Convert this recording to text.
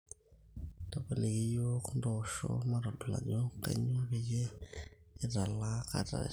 tapaliki iyiook ntosho matodol ajo kainyoo peyie italaa kat are